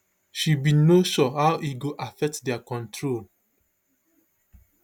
she bin no sure how e go affect dia control